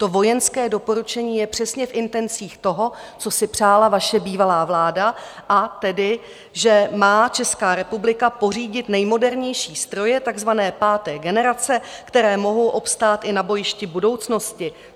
To vojenské doporučení je přesně v intencích toho, co si přála vaše bývalá vláda, a tedy že má Česká republika pořídit nejmodernější stroje takzvané páté generace, které mohou obstát i na bojišti budoucnosti.